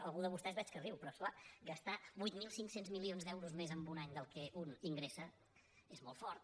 algú de vostès veig que riu però és clar gastar vuit mil cinc cents milions d’euros més en un any del que un in·gressa és molt fort